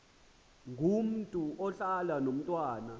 ngomntu ohlala nomntwana